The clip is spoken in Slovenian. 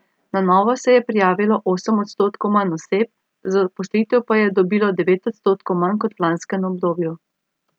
Na novo se je prijavilo osem odstotkov manj oseb, zaposlitev pa jih je dobilo devet odstotkov manj kot v lanskem obdobju.